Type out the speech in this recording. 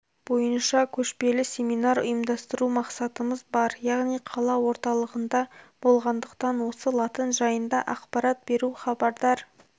бойынша көшпелі семинар ұйымдастыру мақсатымыз бар яғни қала орталығында болғандықтан осы латын жайында ақпарат беру хабардар